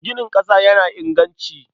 Ginin ƙasa yana inganci.